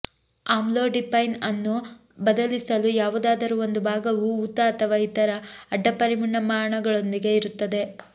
amlodipine ಅನ್ನು ಬದಲಿಸಲು ಯಾವುದಾದರೂ ಒಂದು ಭಾಗವು ಊತ ಅಥವಾ ಇತರ ಅಡ್ಡಪರಿಣಾಮಗಳೊಂದಿಗೆ ಇರುತ್ತದೆ